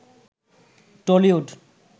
Tollywood